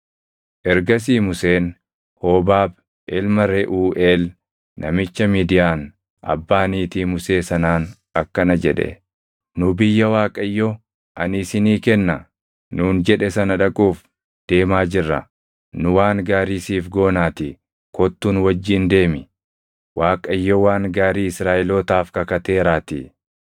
Ergasii Museen Hoobaab ilma Reʼuuʼeel, namicha Midiyaan abbaa niitii Musee sanaan akkana jedhe; “Nu biyya Waaqayyo, ‘Ani isinii kenna’ nuun jedhe sana dhaquuf deemaa jirra. Nu waan gaarii siif goonaatii kottuu nu wajjin deemi; Waaqayyo waan gaarii Israaʼelootaaf kakateeraatii.”